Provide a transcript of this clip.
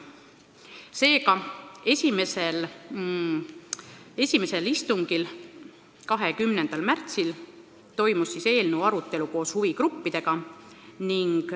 Seega, esimesel istungil, 20. märtsil toimus eelnõu arutelu koos huvigruppidega.